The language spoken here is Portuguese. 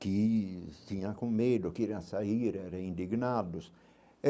Que tinha com medo, sair, era indignados.